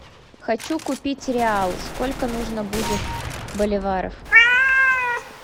хочу купить реал сколько нужно будет боливаров